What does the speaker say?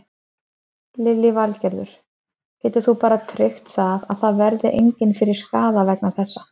Lillý Valgerður: Getur þú bara tryggt það að það verði engin fyrir skaða vegna þessa?